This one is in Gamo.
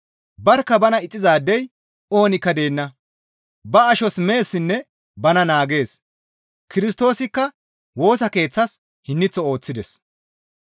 Barkka bana ixxizaadey oonikka deenna; ba ashos meessinne bana naagees; Kirstoosikka Woosa Keeththas hinniththo ooththides.